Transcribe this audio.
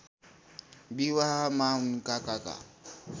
विवाहमा उनका काका